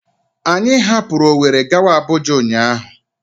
Anyị hapụrụ Ọweri gawa Abụja ụnyaahụ.